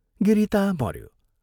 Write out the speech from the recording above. गिरी ता मऱ्यो।